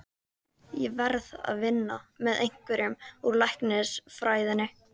Ég verð að vinna með einhverjum úr læknisfræðinni.